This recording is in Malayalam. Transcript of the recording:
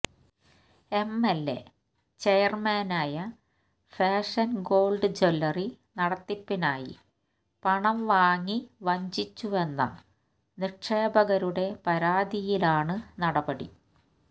എം എല് എ ചെയര്മാനായ ഫാഷന് ഗോള്ഡ് ജ്വല്ലറി നടത്തിപ്പിനായി പണം വാങ്ങി വഞ്ചിച്ചുവെന്ന നിക്ഷേപകരുടെ പരാതിയിലാണ് നടപടി